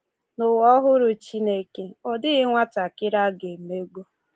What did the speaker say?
N’ụwa ọhụrụ Chineke, ọ dịghị nwatakịrị a ga-emegbu.